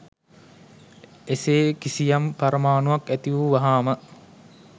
එසේ කිසියම් පරමාණුවක් ඇති වූ වහාම